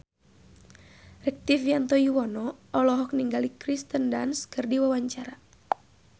Rektivianto Yoewono olohok ningali Kirsten Dunst keur diwawancara